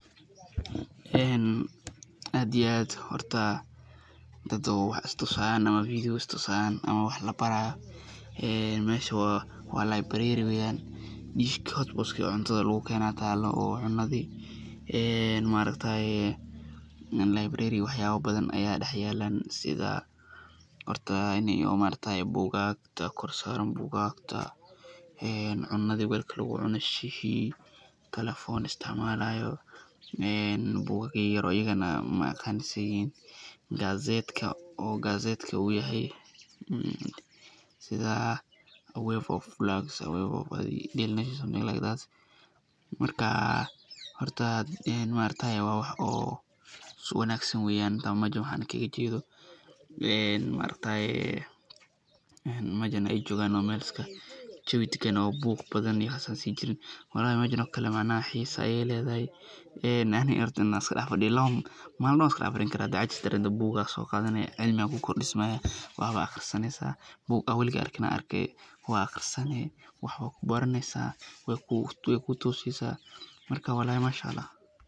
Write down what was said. aad iyo aad, horta dad oo wax is tusi haayan, is tusaayan ama wax labaraayo, meesha waa [Library] weeyan, meesha [hot pot]oo cuntadi lagu keene ayaa taalo oo cunadii, maargtaye [library]wax yaaba badan ayaa dex yaalan sida horta buugagta kor saaran, buugagta, cunadi weelka lagu cuno, shihii,[telephone]isticmaalayo, buugaag yar yar,[gazette]uu yahay, marka waa wax wanagsan meesha aay joogan waa meel jawi dagan oo buuq badan iyo waxaas aan sii jirin, walahi meeshan oo kale xiisa ayeey ledahay, inaad iska dex fadido, maalin dan ayaa iska dex fadee, hadaad cajis dareento buug ayaa soo qaadane cilmi ayaa kuu kordismaaya, wax ayaad aqrisaneysa, buug aad weliga arkin ayaa Arkin, waad aqrisaneysa, waay kuu toose, marka walahi Masha Allah.